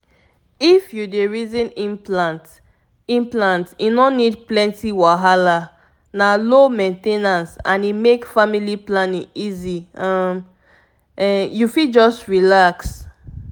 if you dey reason implant implant e no need plenty wahala — na low main ten ance and e make family planning easy um… um… you fit just relax.